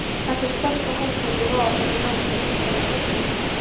Þetta er stórt og holdmikið vöðvafjall í rósóttri, stutterma skyrtu.